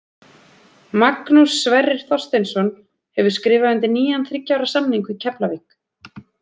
Magnús Sverrir Þorsteinsson hefur skrifað undir nýjan þriggja ára samning við Keflavík.